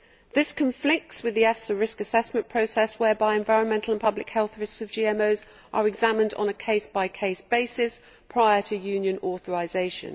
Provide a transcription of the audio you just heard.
This conflicts with the EFSA risk assessment process, whereby the environmental and public health risks of GMOs are examined on a case by case basis prior to Union authorisation.